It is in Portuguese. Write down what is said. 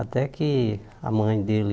Até que a mãe dele...